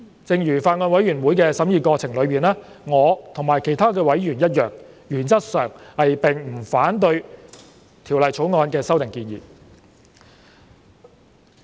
正如在法案委員會的審議過程中，我和其他委員一樣，原則上並不反對《條例草案》的修訂建議。